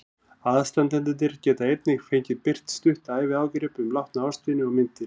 Aðstandendur get einnig fengið birt stutt æviágrip um látna ástvini og myndir.